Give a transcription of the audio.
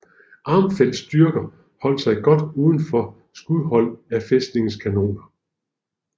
Armfeldts styrker holdt sig godt udenfor skudhold af fæstningens kanoner